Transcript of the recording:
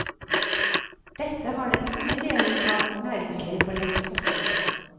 Dette har den tunge delen av vårt næringsliv for lengst forstått.